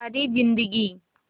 सारी जिंदगी